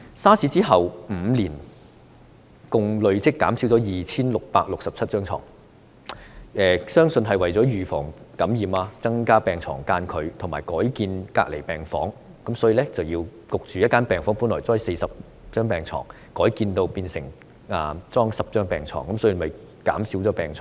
SARS 之後5年，共累積減少 2,667 張床，相信這是為了預防感染，增加病床間距和改建隔離病房；例如在某間醫院，一間本來擺放40張病床的病房，被迫改建，只擺放10張病床。